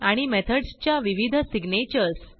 आणि मेथडसच्या विविध सिग्नेचर्स